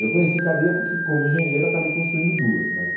Eu conheci cadeia porque como engenheiro acabei construindo duas, mas...